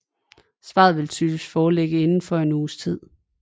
Svaret vil typisk foreligge indenfor en uges tid